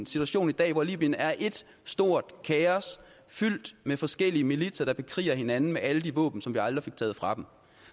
situation i dag hvor libyen er ét stort kaos fyldt med forskellige militser der bekriger hinanden med alle de våben som vi aldrig fik taget fra dem